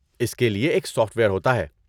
اس کے لیے ایک سافٹ ویئر ہوتا ہے۔